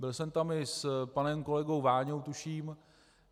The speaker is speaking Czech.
Byl jsem tam i s panem kolegou Váňou tuším.